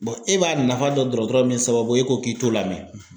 e b'a nafa dɔn dɔgɔtɔrɔ min sababu ye e ko k'i t'o lamɛn;